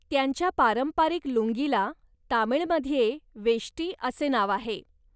त्यांच्या पारंपरिक लुंगीला तामिळमध्ये 'वेष्टी' असे नाव आहे.